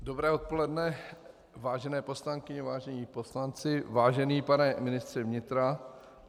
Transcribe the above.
Dobré odpoledne, vážené poslankyně, vážení poslanci, vážený pane ministře vnitra.